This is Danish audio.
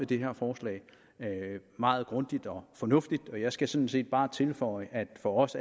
det her forslag meget grundigt og fornuftigt og jeg skal sådan set bare tilføje at det for os